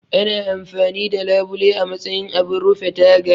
Ana amfani da labule a matsayin abun rufe taga